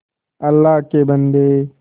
अल्लाह के बन्दे